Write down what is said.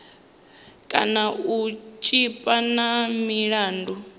kana u tshipa na milandu